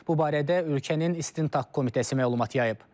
Bu barədə ölkənin İstintaq Komitəsi məlumat yayıb.